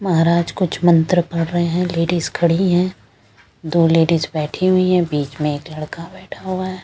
महाराजकुछ मंत्र पढ़ रहे हैं लेडीज खड़ी हैं दो लेडीज बैठी हुई हैं बीच में एक लड़का बैठा हुआ है।